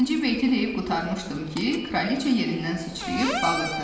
Birinci beyti deyib qurtarmışdım ki, Kraliça yerindən sıçrayıb bağırdı.